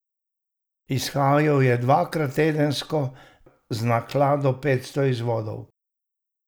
Izhajal je dvakrat tedensko z naklado petsto izvodov.